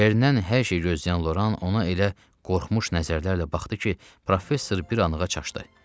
Kerndən hər şey gözləyən Loran ona elə qorxmuş nəzərlərlə baxdı ki, professor bir anlığa çaşdı.